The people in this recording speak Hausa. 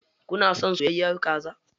Kun son soyayyar kaza?